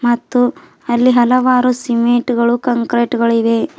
ಮತ್ತು ಅಲ್ಲಿ ಹಲವಾರು ಸಿಮೆಂಟ್ ಗಳು ಕಂಕ್ರೀಟುಗಳಿವೆ.